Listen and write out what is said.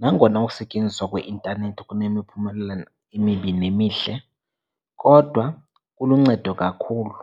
Nangona ukusetyenziswa kweintanethi kunemiphumela emibi nemihle, kodwa kuluncedo kakhulu.